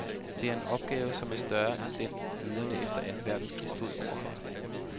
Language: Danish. Det er en opgave, som er større end den, lederne efter anden verdenskrig stod overfor.